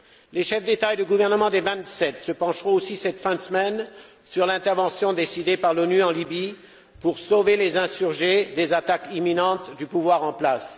Les chefs d'État et de gouvernement des vingt sept se pencheront aussi, cette fin de semaine, sur l'intervention décidée par l'ONU en Libye pour sauver les insurgés des attaques imminentes du pouvoir en place.